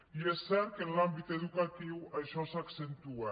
i és cert que en l’àmbit educatiu això s’accentua